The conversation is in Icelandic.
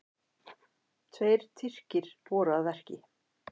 Tveir Tyrkir voru að verki.